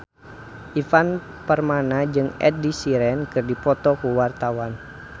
Ivan Permana jeung Ed Sheeran keur dipoto ku wartawan